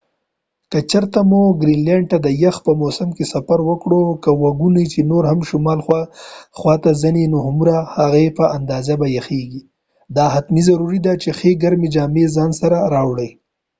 که چېرته مو ګرینلینډ ته د یخ په موسم کې سفر وکړ که وګڼو چې نور هم شمال خواته ځی نو هومره چې ځی په همغه اندازه به یخیږی دا حتمی ضروری ده چې ښی ګرمی جامی د ځان سره راوړی